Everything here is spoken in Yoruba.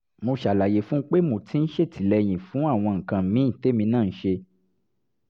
mo ṣàlàyé fún un pé mo ti ń ṣètìlẹ́yìn fún àwọn nǹkan míì témi náà ń ṣe